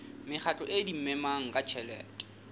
mekgatlo e adimanang ka tjhelete